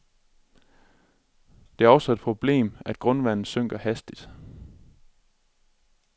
Det er også et problem, at grundvandet synker hastigt.